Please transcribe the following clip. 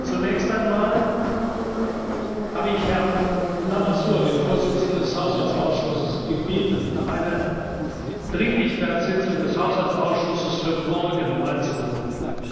Zunächst einmal habe ich Herrn Lamassoure, den Vorsitzenden des Haushaltsausschusses, gebeten, eine Dringlichkeitssitzung des Haushaltsausschusses für morgen einzuberufen.